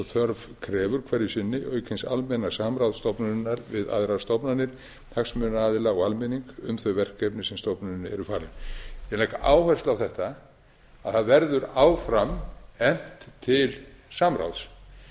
þörf krefur hverju sinni auk hins almenna samráðs stofnunarinnar við aðrar stofnanir hagsmunaaðila og almenning um þau verkefni sem stofnuninni eru falin ég legg áherslu á þetta að það verður áfram efnt til samráðs